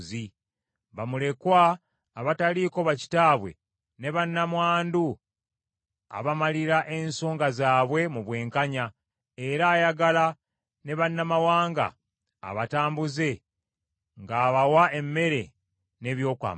Bamulekwa abataliiko bakitaabwe, ne bannamwandu, abamalira ensonga zaabwe mu bwenkanya; era ayagala ne bannamawanga abatambuze, ng’abawa emmere n’ebyokwambala.